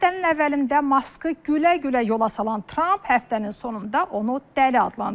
Həftənin əvvəlində Maskı gülə-gülə yola salan Tramp həftənin sonunda onu dəli adlandırdı.